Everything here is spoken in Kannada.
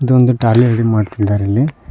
ಒಂದು ಟ್ರಾಲಿ ರೆಡಿ ಮಾಡ್ತಿದ್ದಾರೆ ಇಲ್ಲಿ.